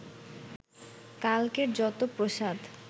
কালকের যত প্রসাদ